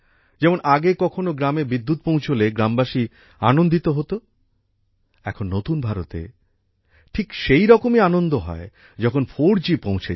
যেমন আগে কখনও গ্রামে বিদ্যুৎ পৌঁছলে গ্রামবাসী আনন্দিত হত এখন নতুন ভারতে ঠিক সেই রকমই আনন্দ হয় যখন 4g পৌঁছে যায়